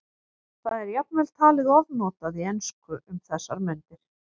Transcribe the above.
Það er jafnvel talið ofnotað í ensku um þessar mundir.